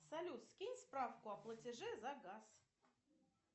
салют скинь справку о платеже за газ